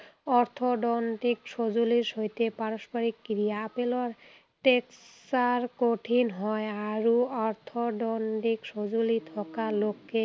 অৰ্থদণ্ডিক সঁজুলিৰ সৈতে পাৰস্পৰিক ক্ৰিয়া। আপেলৰ texture কঠিন হয় আৰু অৰ্থদণ্ডিক সঁজুলি থকা লোকে